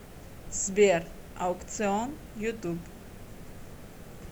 сбер аукцыон ютуб